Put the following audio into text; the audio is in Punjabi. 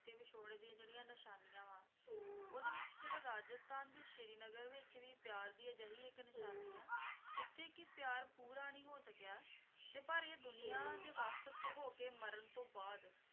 ਵਿਛੋੜੇ ਦੀਆਂ ਜਿਹੜੀਆਂ ਨਿਸ਼ਾਨੀਆਂ ਵਾ ਉਹਦੇ ਵਿੱਚ ਜਿਹੜਾ ਰਾਜਸਥਾਨ ਤੇ ਸ਼੍ਰੀ ਨਗਰ ਵਿੱਚ ਵੀ ਪਿਆਰ ਦੀ ਅਜਿਹੀ ਇੱਕ ਨਿਸ਼ਾਨੀ ਆ ਜਿੱਥੇ ਕੀ ਪਿਆਰ ਪੂਰਾ ਨਹੀਂ ਹੋ ਸਕਿਆ ਤੇ ਪਰ ਇਹ ਦੁਨੀਆਂ ਦੇ ਵੱਖ ਤੋਂ ਹੋਕੇ ਮਰਨ ਤੋਂ ਬਾਅਦ